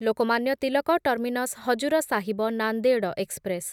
Lokmanya Tilak terminus Hazur Sahib Nanded express